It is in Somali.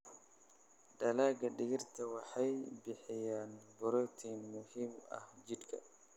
Dalagga digirta waxay bixiyaan borotiin muhiim ah jidhka.